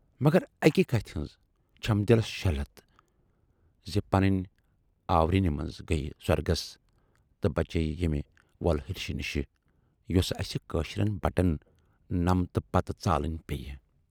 مگر اکہِ کتھِ ہٕنز چھَم دِلس شیہلتھ زِ پنٕنی آورٮ۪نہٕ منز گٔیہِ سۅرگس تہٕ بچے یہِ ییمہِ وۅلہرشہِ نِشہٕ یۅسہٕ اَسہِ کٲشرٮ۪ن بٹن نمتہٕ پَتہٕ ژالٕنۍ پییہِ۔